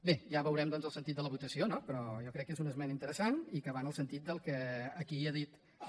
bé ja veurem doncs el sentit de la votació no però jo crec que és una esmena interessant i que va en el sentit del que aquí ha dit el